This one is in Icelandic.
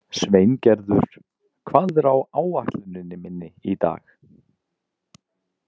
Sveingerður, hvað er á áætluninni minni í dag?